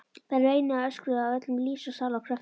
Þær veinuðu og öskruðu af öllum lífs og sálar kröftum.